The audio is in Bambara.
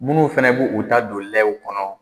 Minnu fana b'u u ta don lɛw kɔnɔ